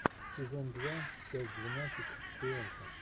сезон два часть двенадцать шпионки